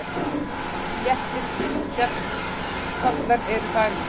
Sléttir fjallskollar eru þar í